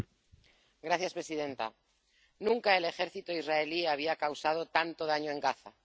Señora presidenta, nunca el ejército israelí había causado tanto daño en Gaza.